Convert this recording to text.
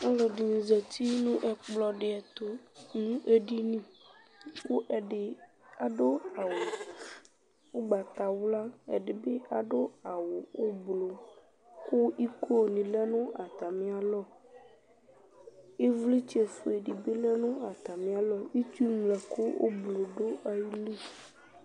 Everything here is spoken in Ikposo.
ɔlɔdini zati nu ɛkplɔ di tu nu edini ku ɛdini adu awuugbatawla ku ɛdibi adu awu ublu ku iko nu lɛ nu atamialɔ ivlitsɛ ofue dibi lɛ nu atamialɔ itsu ŋlɔ ɛku ublu du ayili